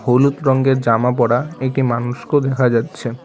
হলুদ রঙের জামা পরা একটি মানুষকেও দেখা যাচ্ছে।